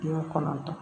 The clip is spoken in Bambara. Kɔnɔntɔn